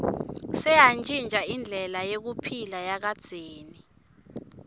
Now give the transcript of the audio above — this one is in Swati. seyantjintja indlela yekuphila yakadzeni